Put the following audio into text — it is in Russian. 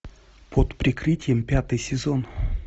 под прикрытием пятый сезон